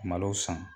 Malo san